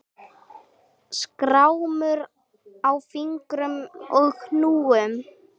Skrámur á fingrum og hnúum.